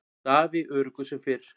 Daði öruggur sem fyrr.